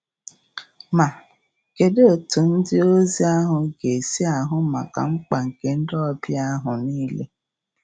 Ma, kedụ etu ndịozi ahụ ga-esi ahụ maka mkpa nke ndị ọbịa ahụ nile?